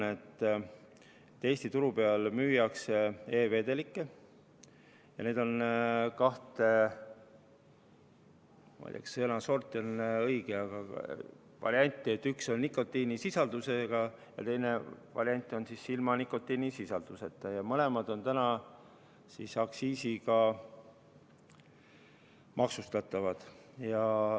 Eesti turul müüakse e-vedelikke ja neid on kahte – ei tea, kas sõna "sort" on õige – varianti: üks on nikotiinisisaldusega ja teine on nikotiinisisalduseta ja mõlemad on täna aktsiisiga maksustatavad.